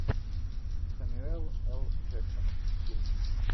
сэмюэл эл джексон фильм